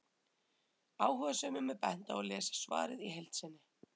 Áhugasömum er bent á að lesa svarið í heild sinni.